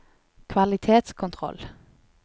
kvalitetskontroll